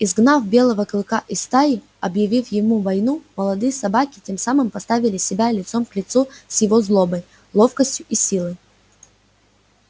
изгнав белого клыка из стаи объявив ему войну молодые собаки тем самым поставили себя лицом к лицу с его злобой ловкостью и силой